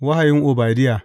Wahayin Obadiya.